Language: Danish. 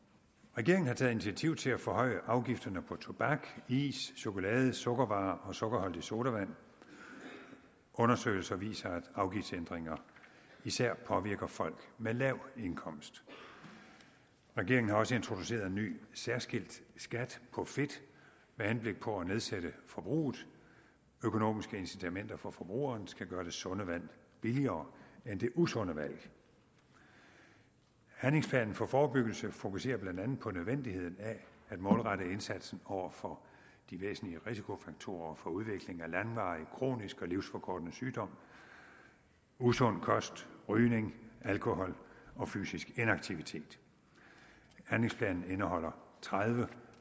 regeringen har taget initiativ til at forhøje afgifterne på tobak is chokolade sukkervarer og sukkerholdig sodavand undersøgelser viser at afgiftsændringer især påvirker folk med lav indkomst regeringen har også introduceret en ny særskilt skat på fedt med henblik på at nedsætte forbruget økonomiske incitamenter for forbrugerne skal gøre det sunde valg billigere end det usunde valg handlingsplanen for forebyggelse fokuserer blandt andet på nødvendigheden af at målrette indsatsen over for de væsentlige risikofaktorer for udvikling af langvarig kronisk og livsforkortende sygdom usund kost rygning alkohol og fysisk inaktivitet handlingsplanen indeholder tredive